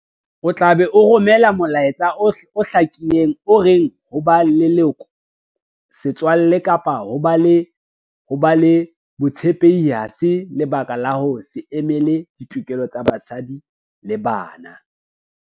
O tla be o romela molaetsa o hlakileng o reng ho ba leloko, setswalle kapa ho ba le botshepehi ha se lebaka la ho se emele ditokelo tsa basadi le bana.